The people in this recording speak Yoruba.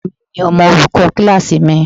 Ọ̀rẹ́ mi ni ọmọ olùkọ́ kíláàsì mi.